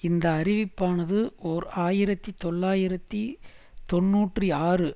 இந்த அறிவிப்பானது ஓர் ஆயிரத்தி தொள்ளாயிரத்தி தொன்னூற்றி ஆறு